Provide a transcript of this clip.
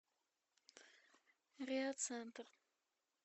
реацентр